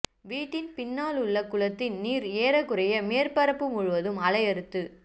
வீட்டின் பின்னாலுள்ள குளத்தின் நீர் ஏறக்குறைய மேற்பரப்பு முழுவதும் அலையறுத்து